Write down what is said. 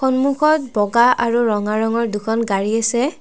সন্মুখত বগা আৰু ৰঙা ৰংৰ দুখন গাড়ী আছে।